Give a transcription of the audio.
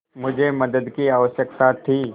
मुझे मदद की आवश्यकता थी